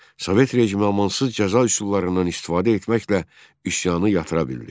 Sovet rejimi amansız cəza üsullarından istifadə etməklə üsyanı yatıra bildi.